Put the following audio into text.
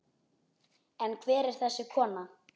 En hver er þessi kona?